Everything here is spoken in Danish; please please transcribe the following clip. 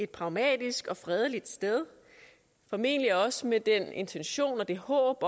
pragmatisk og fredeligt sted formentlig også med den intention og det håb